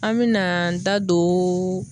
An me na an da don